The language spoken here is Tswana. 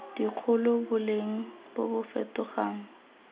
dikgolo boleng bo bo fetogang